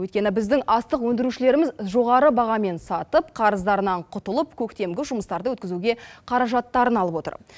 өйткені біздің астық өндірушілеріміз жоғары бағамен сатып қарыздарынан құтылып көктемгі жұмыстарды өткізуге қаражаттарын алып отыр